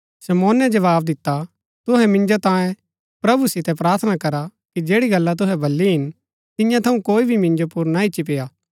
शमौने जवाव दिता तुहै मिन्जो तांयें प्रभु सितै प्रार्थना करा कि जैड़ी गल्ला तुहै बली हिन तियां थऊँ कोई भी मिन्जो पुर ना ईच्ची पेय्आ